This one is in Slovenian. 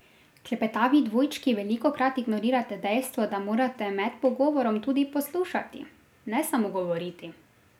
Klepetavi dvojčki velikokrat ignorirate dejstvo, da morate med pogovorom tudi poslušati, ne samo govoriti.